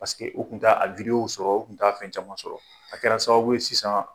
Paseke o kun t'a a wideyo sɔrɔ, u kun t'a fɛn caman sɔrɔ. A kɛra sababu ye sisan